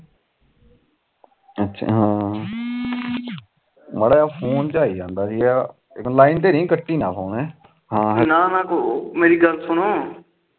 ਹਾਂ